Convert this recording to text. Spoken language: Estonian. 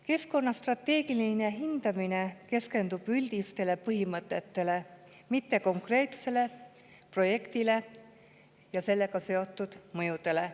Keskkonna strateegiline hindamine keskendub üldistele põhimõtetele, mitte konkreetsele projektile ja sellega seotud mõjudele.